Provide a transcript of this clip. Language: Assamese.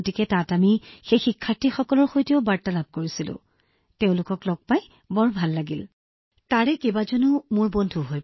গতিকে তাত আমি সেই শিক্ষাৰ্থীসকলৰ সৈতেও বাৰ্তালাপ কৰিছিলো আৰু মই তেওঁলোকক লগ পাই বৰ সুখী অনুভৱ কৰিছিলো তেওঁলোকৰ বহুতো এতিয়া মোৰ বন্ধু